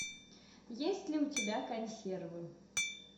есть ли у тебя консервы